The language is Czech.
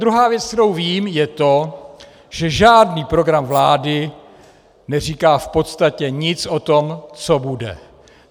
Druhá věc, kterou vím, je to, že žádný program vlády neříká v podstatě nic o tom, co bude.